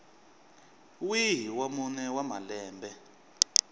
wihi wa mune wa malembe